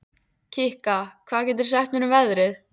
Kikka, hvað geturðu sagt mér um veðrið?